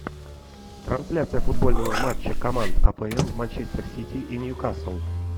трансляция футбольного матча команд апл манчестер сити и ньюкасл